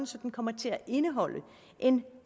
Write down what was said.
så den kommer til at indeholde en